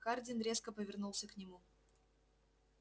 хардин резко повернулся к нему